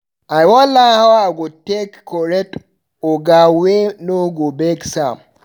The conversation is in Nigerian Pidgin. I wan learn how I go take correct oga wey no go vex am.